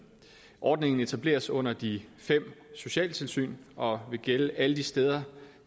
ordningen etableres under de fem socialtilsyn og vil gælde alle de steder